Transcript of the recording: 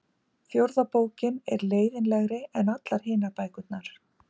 fjórða bókin er leiðinlegri en allar hinar bækurnar